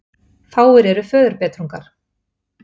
Fáir eru föðurbetrungar.